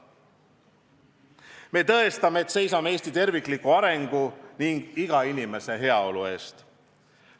Me tõestame, et seisame Eesti tervikliku arengu ning iga inimese heaolu eest.